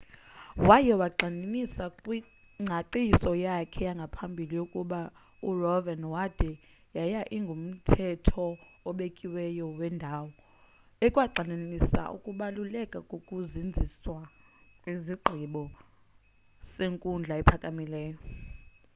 waye wayigxininisa kwingcaciso yakhe yangaphambili into yokuba roev.wade yaye ingumthetho obekiweyo wendawo” ekwagxininisa ukubaluleka kokuzinziswa kwesigqibo senkundla ephakamileyo